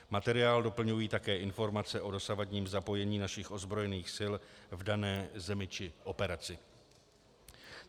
Materiál doplňují také informace o dosavadním zapojení našich ozbrojených sil v dané zemi či operaci.